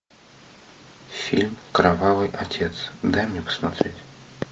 фильм кровавый отец дай мне посмотреть